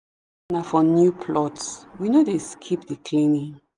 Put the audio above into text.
na for new plots we no dey skip the cleaning.